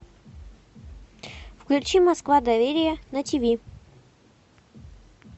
включи москва доверие на тиви